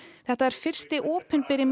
þetta er fyrsti opinberi